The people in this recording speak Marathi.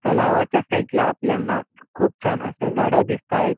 तलावाच्या साइड ला आपल्याना खुप छान असे झाड़े दिसता आहेत.